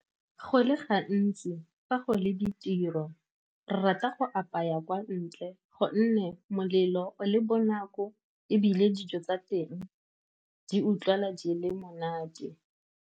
Go le gantsi fa go le ditiro, re rata go apaya kwa ntle, gonne molelo le bonako, ebile dijo tsa teng di utlwala di le monate.